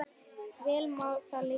Vel má það liggja.